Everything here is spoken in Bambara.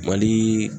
Mali